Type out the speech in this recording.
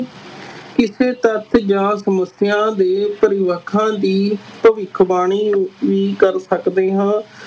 ਕਿਸੇ ਤੱਥ ਜਾਂ ਸਮੱਸਿਆ ਦੇ ਦੀ ਭਵਿੱਖਬਾਣੀ ਵੀ ਕਰ ਸਕਦੇ ਹਾਂ।